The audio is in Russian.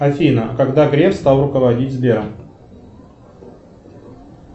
афина когда греф стал руководить сбером